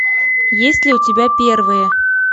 есть ли у тебя первые